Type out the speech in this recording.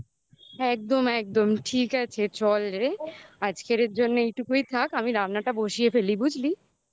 হুম একদম একদম ঠিক আছে চল রে আজকের এর জন্য এইটুকুই থাক আমি রান্নাটা বসিয়ে ফেলি বুঝলি